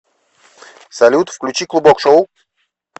салют включи клубок шоу